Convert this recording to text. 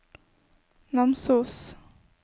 Namsos